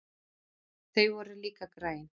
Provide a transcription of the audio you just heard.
Þau voru líka græn.